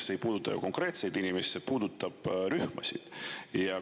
See ei puuduta ainult neid konkreetseid inimesi, vaid rühmasid.